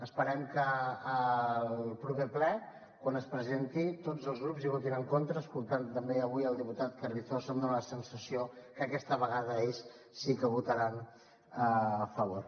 esperem que al proper ple quan es presenti tots els grups hi votin a favor escoltant també avui el diputat carrizosa em dona la sensació que aquesta vegada ells sí que hi votaran a favor